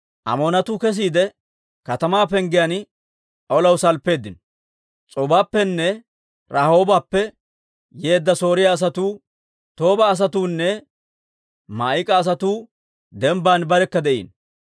Amoonatuu kesiide, katamaa penggiyaan olaw salppeeddino; S'oobappenne Rahoobappe yeedda Sooriyaa asatuu, Tooba asatuunne Maa'ika asatuu dembban barekka de'iino.